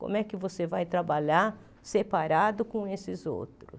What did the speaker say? Como é que você vai trabalhar separado com esses outros?